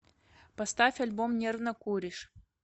поставь альбом нервно куришь